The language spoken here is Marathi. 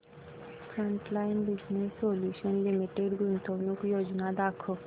फ्रंटलाइन बिजनेस सोल्यूशन्स लिमिटेड गुंतवणूक योजना दाखव